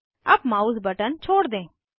अब mouse button छोड़ दें